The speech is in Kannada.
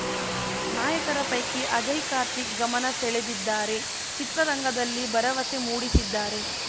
ನಾಯಕರ ಪೈಕಿ ಅಜಯ್ ಕಾರ್ತಿಕ್ ಗಮನ ಸೆಳೆದಿದ್ದಾರೆ ಚಿತ್ರರಂಗದಲ್ಲಿ ಭರವಸೆ ಮೂಡಿಸಿದ್ದಾರೆ